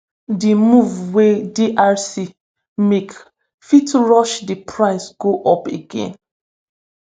di move wey drc make fit push di price go up again